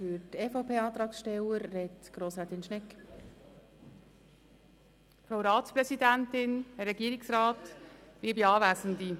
Für die EVP-Fraktion als Antragstellerin spricht Grossrätin Schnegg.